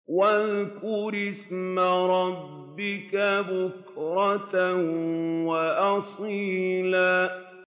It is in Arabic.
وَاذْكُرِ اسْمَ رَبِّكَ بُكْرَةً وَأَصِيلًا